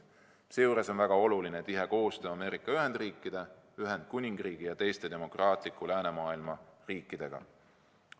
Seejuures on väga oluline tihe koostöö Ameerika Ühendriikide, Ühendkuningriigi ja teiste demokraatliku läänemaailma riikidega.